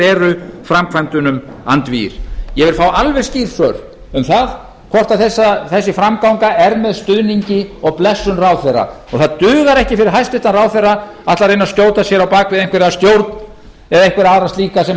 eru framkvæmdunum andvígir ég vil fá alveg skýr svör um það hvort þessi framganga er með stuðningi og blessun ráðherra og það dugar ekki fyrir hæstvirtan ráðherra að ætla að reyna að skjóta sér á bak við einhverja stjórn eða einhverja aðra slíka sem